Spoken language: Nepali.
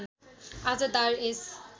आज दार एस